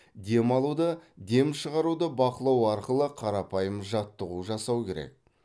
дем алуды дем шығаруды бақылау арқылы қарапайым жаттығу жасау керек